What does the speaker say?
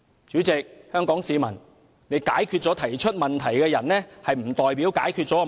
主席，各位香港市民，解決了提出問題的人並不代表解決了問題。